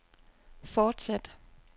fortsæt